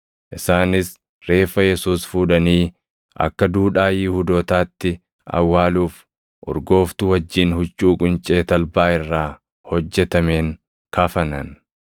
Isaanis reeffa Yesuus fuudhanii akka duudhaa Yihuudootaatti awwaaluuf urgooftuu wajjin huccuu quncee talbaa irraa hojjetameen kafanan.